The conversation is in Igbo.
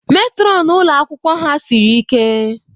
Matron ụlọ akwụkwọ ha siri ike.